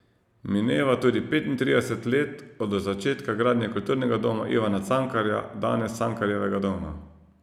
Mineva tudi petintrideset let od začetka gradnje Kulturnega doma Ivana Cankarja, danes Cankarjevega doma.